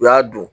U y'a dun